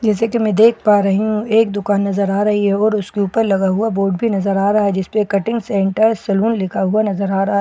जैसे कि मैं देख पा रही हूं एक दुकान नजर आ रही है और उसके ऊपर लगा हुआ बोर्ड भी नजर आ रहा है जिस पे कटिंग सेंटर सैलून लिखा हुआ नजर आ रहा है --